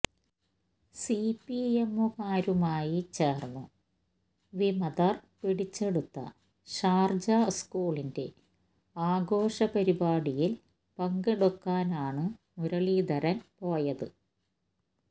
സിപിഎമ്മുകാരുമായി ചേര്ന്നു വിമതര് പിടിച്ചെടുത്ത ഷാര്ജ സ്കൂളിന്റെ ആഘോഷപരിപാടിയില് പങ്കെടുക്കാനാണു മുരളീധരന് പോയത്